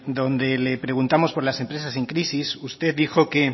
donde le preguntamos por las empresas en crisis usted dijo que